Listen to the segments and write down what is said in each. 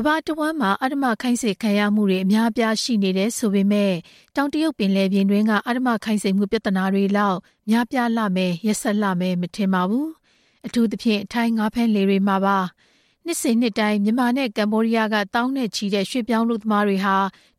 မ္ဘာတစ်ဝန်းမှာ အဓမ္မခိုင်းစေခံရမှုတွေ ရှိနေတယ်ဆိုပေမယ့် တောင်တရုတ်ပင်လယ်ပြင်တွင်းက အဓမ္မခိုင်းစေမှုပြဿနာတွေလောက် များပြားလှမယ် ရက်စက်လှမယ် မထင်ပါဘူး။ အထူးသဖြင့် ထိုင်းငါးဖမ်းလှေတွေမှာပါ။ နှစ်စဉ်နှစ်တိုင်း မြန်မာနဲ့ ကမ္ဘောဒီးယားက သောင်းနဲ့ချီတဲ့ ရွှေ့ပြောင်းအလုပ်သမားတွေ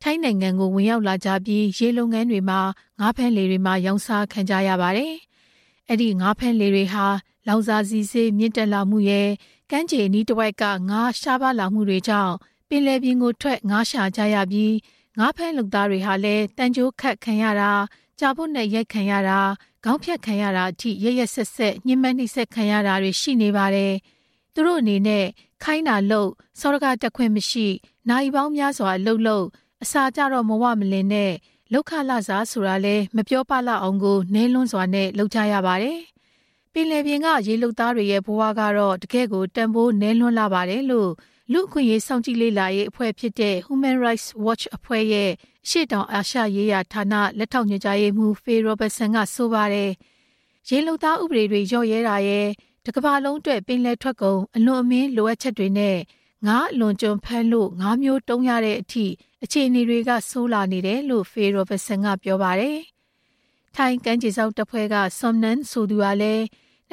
ထိုင်းနိုင်ငံကို ဝင်ရောက်လာကြပြီး ရေလုပ်ငန်းတွေမှာ ငါးဖမ်းလှေတွေမှာ ရောင်းစားခံကြရပါတယ်။ အဲဒီငါးဖမ်းလှေတွေဟာ လောင်စာဆီဈေး မြင့်တက်လာမှုရယ် ကမ်းခြေအနီးတစ်ဝိုက် ငါးရှားပါးမှုတွေကြောင့် ပင်လယ်ပြင်ထွက် ငါးရှာကြရပြီး ငါးဖမ်းလုပ်သားတွေဟာလည်း သံကြိုးခတ်ခံရတာ၊ ကြာပွတ်နဲ့အရိုက်ခံရတာ၊ ခေါင်းဖြတ်ခံရတာအထိ ရက်ရက်စက်စက် ညှဉ်းပန်းနှိပ်စက်ခံရတာတွေ ရှိနေပါတယ်။ သူတို့အနေနဲ့ ခိုင်းတာလုပ်၊ စောဒကတက်ခွင့်မရှိ၊ နာရီပေါင်းများစွာ အလုပ်လုပ်၊ အစာကျတော့ မဝလင် နဲ့ လုပ်ခလစာဆိုတာလည်း မပြောပလောက်အောင်ကို နဲလွန်းစွာနဲ့ လုပ်ကြရပါတယ်။ ပင်လယ်ပြင်က ရေလုပ်သားတွေရဲ့ဘဝကတော့ တကယ့်ကို တန်ဖိုးနဲလွန်းလှပါတယ်လို့ လူ့အခွင့်အရေးစောင့်ကြည့်လေ့လာရေးအဖွဲ့ဖြစ်တဲ့ Human Rights Watch အဖွဲ့ အာရှရေးရာဌာနရဲ့ လက်ထောက်ညွှန်ကြားရေးမှုး Phil Robertson က ဆိုပါတယ်။ ရေလုပ်သားဥပဒေတွေ လျော့ရဲတာရယ် တစ်ကမ္ဘာလုံးအတွက် ပင်လယ်ထွက်ကုန် အလွန်အမင်း လိုအပ်ချက်တွေနဲ့ ငါးအလွန်အကျွံဖမ်းလို့ ငါးမျိုးတုံးရတဲ့အထိ အခြေအနေတွေဆိုးလာနေတယ်လို့ Phil Robertson က ပြောပါတယ်။ ထိုင်းကမ်းခြေစောင့်တပ်ဖဲ့ွက Som Nang ဆိုသူကလည်း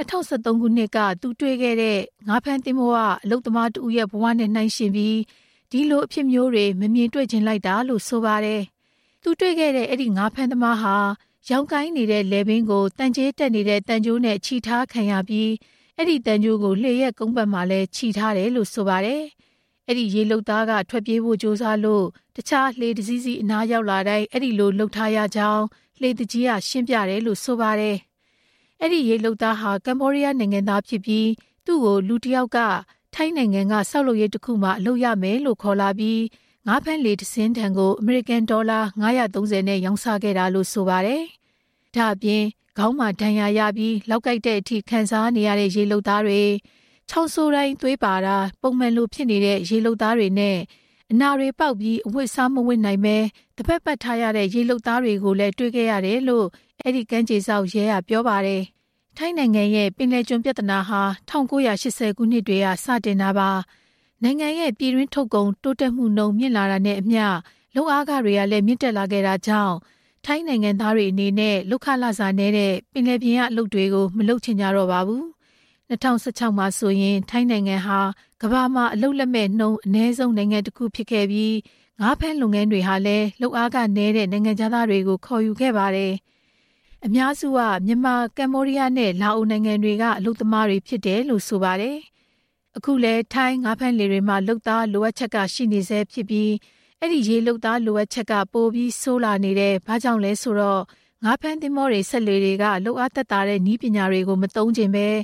၂၀၁၃ ခုနှစ်က သူတို့ဖမ်းမိတဲ့ ငါးဖမ်းလှေက အလုပ်သမားတစ်ဦးရဲ့ဘဝနဲ့ နှိုင်းယှဉ်ပြီး ဒီလိုအဖြစ်မျိုးတွေ မမြင်တွေ့ချင်လိုက်တာလို့ ဆိုပါတယ်။ သူတွေ့ခဲ့တဲ့ အဲဒီငါးဖမ်းသမားဟာ ယောင်ကိုင်းနေတဲ့ လည်ပင်းကို သံချေးတက်နေတဲ့ သံကြိုးနဲ့ချည်ထားခံရပြီး အဲဒီသံကြိုးကို လှေရဲ့ကုန်းပတ်မှာ ချည်ထားတယ်လို့ ဆိုပါတယ်။ အဲဒီရေလုပ်သားက ထွက်ပြေးဖို့ကြိုးစားလို့ တခြားလှေတစ်စီးစီး အနားရောက်လာတိုင်း အဲဒီလိုလုပ်ထားရကြောင်း လှေသူကြီးက ရှင်းပြတယ်လို့ဆိုပါတယ်။ အဲဒီရေလုပ်သားဟာ ကမ္ဘောဒီးယားနိုင်ငံသားဖြစ်ပြီး သူ့ကို လူတစ်ယောက်က ထိုင်းနိုင်ငံက ဆောက်လုပ်ရေးတစ်ခုမှာ အလုပ်ရမယ်လို့ ခေါ်လာပြီး ငါးဖမ်းလှေတစ်စင်းထံကို အမေရိကန်ဒေါ်လာ ၅၃၀ နဲ့ ရောင်းစားခဲ့တာလို့လည်း ဆိုပါတယ်။ ဒါ့အပြင် ခေါင်းမှာဒဏ်ရာရပြီး လောက်ကိုက်တဲ့အထိ ခံစားနေရတဲ့ ရေလုပ်သားတွေ၊ ချောင်းဆိုးတိုင်း သွေးပါတာ ပုံမှန်လိုဖြစ်နေတဲ့ ရေလုပ်သားတွေနဲ့ အနာတွေပေါက်ပြီး အဝတ်အစားမဝတ်နိုင်ဘဲ သဘက်ပတ်ထားရတဲ့ ရေလုပ်သားတွေကိုလည်း တွေ့ခဲ့ရတယ်လို့လည်း အဲဒီကမ်းခြေစောင့်ရဲက ပြောပါတယ်။ ထိုင်းနိုင်ငံရဲ့ ပင်လယ်ကျွန်ပြဿနာဟာ ၁၉၈၀ ခုနှစ်တွေက စတယ်လို့ဆိုရပါမယ်။ နိုင်ငံရဲ့ ပြည်တွင်းထုတ်ကုန်တိုးတက်မှုနှုန်း မြင့်လာတာနဲ့အမျှ လုပ်အားခတွေလည်း မြင့်တက်လာခဲ့တာကြောင့် ထိုင်းနိုင်ငံသားတွေအနေနဲ့ လုပ်ခလစာနဲတဲ့ ပင်လယ်ပြင်က အလုပ်တွေကို မလုပ်ချင်ကြတော့ပါဘူး။ ၂၀၁၆ ခုနှစ်မှာဆိုရင် ထိုင်းနိုင်ငံဟာ ကမ္ဘာမှာ အလုပ်လက်မဲ့နှုန်း အနည်းဆုံးနိုင်ငံတစ်ခုဖြစ်ခဲ့ပြီး ငါးဖမ်းလုပ်ငန်းတွေဟာလည်း လုပ်အားခနည်းတဲ့ နိုင်ငံခြားသားတွေကို ခေါ်ယူခဲ့ပါတယ်။ အများစုက မြန်မာ၊ ကမ္ဘောဒီးယား နဲ့ လာအိုနိုင်ငံတွေက အလုပ်သမားတွေဖြစ်ကြတယ်လို့ ဆိုပါတယ်။ အခုလဲ ထိုင်းငါးဖမ်းလှေတွေမှာ လုပ်သားလိုအပ်ချက်က ရှိနေဆဲဖြစ်ပြီး အဲဒီရေလုပ်သားလိုအပ်ချက်က ပိုပြီးဆိုးလာနေတယ်။ ဘာကြောင့်လဲဆိုတော့ ငါးဖမ်းသင်္ဘောတွေ စက်လှေတွေက လုပ်အားသက်သာတဲ့ နည်းပညာတွေကို မသုံးချင်ဘဲ၊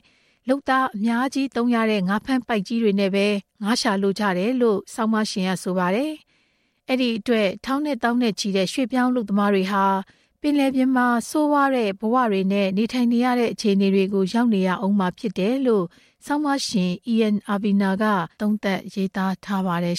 လုပ်သားအများကြီးသုံးရတဲ့ ငါးဖမ်းပိုက်ကြီးတွေနဲ့ပဲ ငါးရှာလိုကြတယ်လို့လည်း ဆိုပါတယ်။ အဲဒီအတွက် ထောင်နဲ့သောင်းနဲ့ချီတဲ့ ရွှေ့ပြောင်းအလုပ်သမားတွေဟာ ပင်လယ်ပြင်မှာ ဆိုးဝါးတဲ့ဘဝတွေနဲ့ နေထိုင်နေရတဲ့ဘဝတွေကို ရောက်နေရဦးမှာဖြစ်တယ်လို့ ဆောင်းပါးရှင် Ian Urbina က သုံးသပ်ရေးသားထားပါတယ်